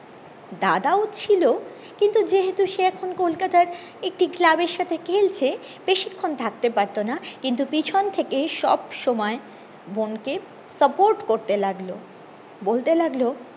দাদাও ছিল কিন্তু সে এখন কলকাতার একটি ক্লাবের সাথে খেলছে বেশিক্ষন থাকতে পারতো না কিন্তু পেছন থেকে সব সময় বোনকে support করতে লাগলো বলতে লাগলো